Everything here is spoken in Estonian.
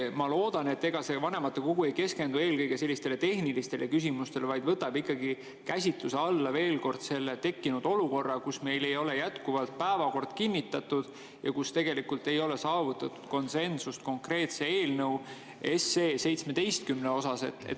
Ma loodan, et vanematekogu ei keskendu eelkõige sellistele tehnilistele küsimustele, vaid võtab ikkagi veel kord käsitluse alla selle tekkinud olukorra, kus meil ei ole jätkuvalt päevakord kinnitatud ja tegelikult ei ole saavutatud konsensust konkreetse eelnõu 17 osas.